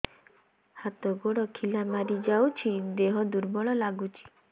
ହାତ ଗୋଡ ଖିଲା ମାରିଯାଉଛି ଦେହ ଦୁର୍ବଳ ଲାଗୁଚି